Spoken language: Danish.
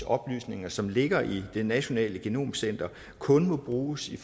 oplysninger som ligger i det nationale genomcenter kun må bruges i